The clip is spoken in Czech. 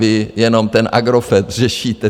Vy jenom ten Agrofert řešíte.